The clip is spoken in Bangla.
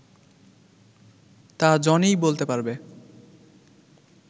তা জনিই বলতে পারবে